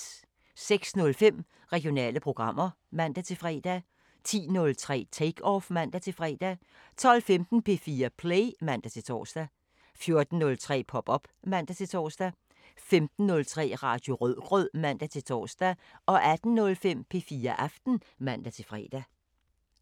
06:05: Regionale programmer (man-fre) 10:03: Take Off (man-fre) 12:15: P4 Play (man-tor) 14:03: Pop op (man-tor) 15:03: Radio Rødgrød (man-tor) 18:05: P4 Aften (man-fre)